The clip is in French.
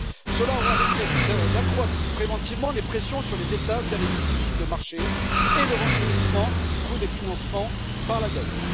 Cela aura l'effet d'accroître préventivement les pressions sur les États, via les disciplines de marché, et le renchérissement du coût des financements par la dette.